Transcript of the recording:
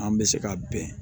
An bɛ se ka bɛn